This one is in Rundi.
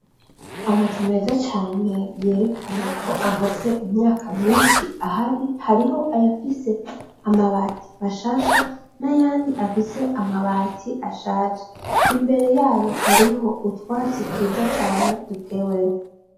Amazu meza cane yerekana ko amaze imyaka myinshi ahari, hariho ayafise amabati mashasha n'ayandi afise amabati ashaje , imbere yayo hariho utwatsi twiza cane duteweho.